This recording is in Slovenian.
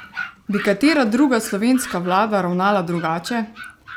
Bi katera druga slovenska vlada ravnala drugače?